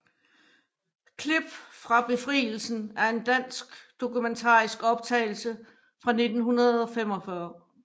Klip fra Befrielsen er en dansk dokumentarisk optagelse fra 1945